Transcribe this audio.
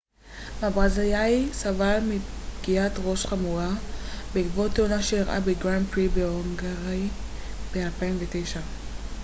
הברזילאי סבל מפגיעת ראש חמורה בעקבות תאונה שאירעה בגראנד פרי ההונגרי ב-2009